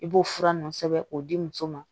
I b'o fura nunnu sɛbɛn k'o di muso ma